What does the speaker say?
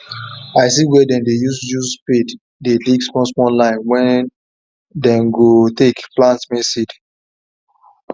i see where dem dey use use spade dey dig small small line wen them go take plant maize seed